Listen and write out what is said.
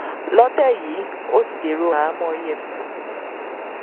lọtẹ yìí ó ti dèrò àhámọ efcc